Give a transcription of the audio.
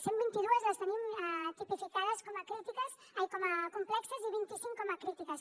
cent vint i dues les tenim tipificades com a complexes i vint i cinc com a crítiques